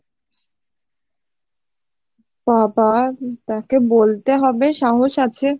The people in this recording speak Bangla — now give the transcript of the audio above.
বাবাঃ, তাকে বলতে হবে সাহস আছে